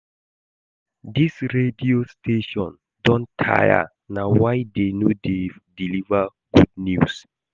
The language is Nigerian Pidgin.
Dis radio station don tire na why dey no dey deliver good news